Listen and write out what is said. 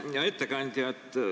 Hea ettekandja!